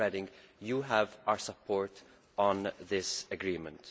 Ms Reding, you have our support on this agreement.